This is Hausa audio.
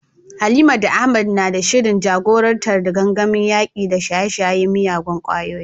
Halima da Ahmad na da shirin jagorantar gangamin yaƙi da shaye-shayen miyagun ƙwayoyi.